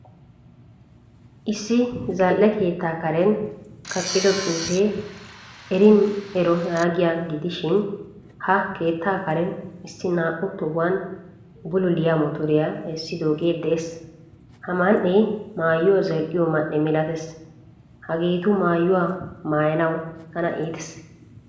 Issi zal'e keetta karen kaqqido xuufe erin ero yaagiyaa gidishin ha keettaa karen issi naa'u tohuwan bululiyaa motoriya essidoge de'ees. Ha man'e maayuwaa zal'iyo man'e milatees. Hagettu maayuwaa maayanawu tana iitees.